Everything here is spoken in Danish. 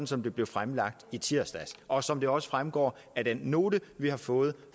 som det blev fremlagt i tirsdags og som det også fremgår af den note vi har fået